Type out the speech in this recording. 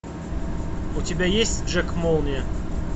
у тебя есть джек молния